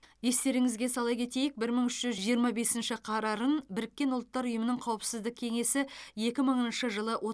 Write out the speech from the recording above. естеріңізге сала кетейік бір мың үш жүз жиырма бесінші қарарын біріккен ұлттар ұйымының қауіпсіздік кеңесі екі мыңыншы жылы